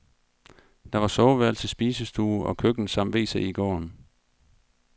Der var soveværelse, spisestue og køkken samt wc i gården.